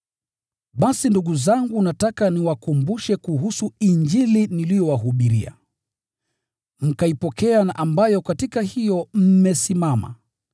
Basi ndugu zangu nataka niwakumbushe kuhusu Injili niliyowahubiria, mkaipokea na ambayo katika hiyo mmesimama.